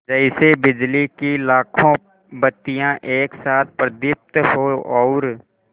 जैसे बिजली की लाखों बत्तियाँ एक साथ प्रदीप्त हों और